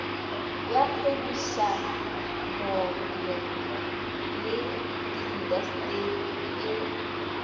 ya kgwebišanono le diintaseteri e